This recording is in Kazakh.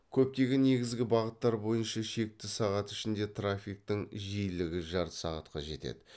көптеген негізгі бағыттар бойынша шекті сағат ішінде трафиктің жиілігі жарты сағатқа жетеді